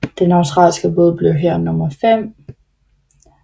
Den australske båd blev her nummer fem